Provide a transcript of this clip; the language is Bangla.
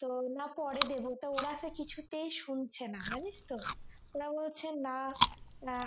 তো না পরে দেবো তো ওরা তো কিছুতেই শুনছে না জানিস তো ওরা বলছে না